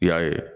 I y'a ye